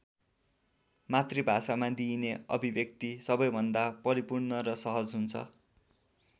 मातृभाषामा दिइने अभिव्यक्ति सबैभन्दा परिपूर्ण र सहज हुन्छ।